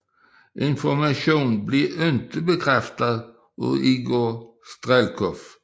Informationen blev ikke bekræftet af Igor Strelkov